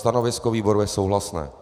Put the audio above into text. Stanovisko výboru je souhlasné.